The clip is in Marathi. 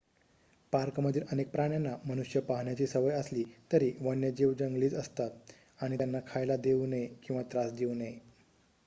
पार्कमधील अनेक प्राण्यांना मनुष्य पाहण्याची सवय असली तरी वन्यजीव जंगलीच असतात आणि त्यांना खायला देऊ नये किंवा त्रास देऊ नये